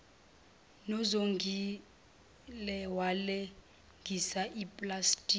nozongile walengisa uplastiki